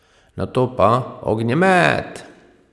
Nato pa, ognjemet!